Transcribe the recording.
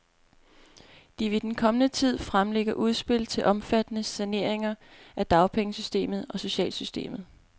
De vil i den kommende tid fremlægge udspil til omfattende saneringer af dagpengesystemet og socialsystemet.